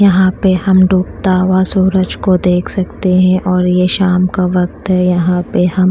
यहां पे हम डूबता हुआ सूरज को देख सकते है और ये शाम का वक्त है यहां पे हम--